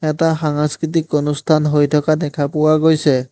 এটা সাংষ্কৃতিক অনুষ্ঠান হৈ থকা দেখা পোৱা গৈছে।